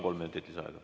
Kolm minutit lisaaega.